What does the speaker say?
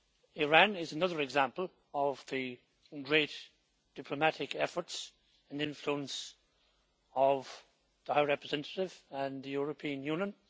Iran is another example of the great diplomatic efforts and influence of the High Representative and the European Union.